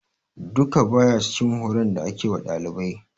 Duka, ba ya cikin horon da ake wa dalibai.